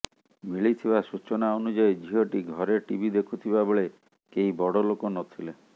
ମିଳିଥିବା ସୂଚନା ଅନୁଯାୟୀ ଝିଅଟି ଘରେ ଟିଭି ଦେଖୁଥିବା ବେଳେ କେହି ବଡ଼ ଲୋକ ନଥିଲେ